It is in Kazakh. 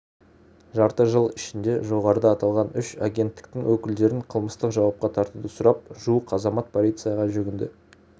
жарты жыл ішінде жоғарыда аталған үш агенттіктің өкілдерін қылмыстық жауапқа тартуды сұрап жуық азамат полицияға жүгінді